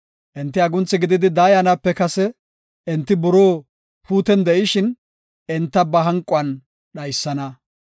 Enti agunthi gididi daayanape kase, enti buroo puuto gididi de7ishin, enta ba hanquwan dhaysana.